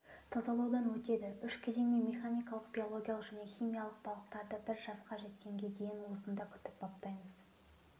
тазалаудан өтеді үш кезеңмен механикалық биологиялық және химиялық балықтарды бір жасқа жеткенге дейін осында күтіп-баптаймыз